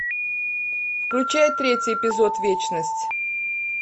включай третий эпизод вечность